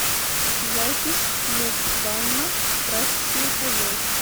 запись муп банно прачечное хозяйство